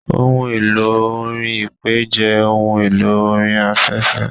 Ohun elò orin Ipè jẹ́ ohun elò orin afẹ́fẹ́.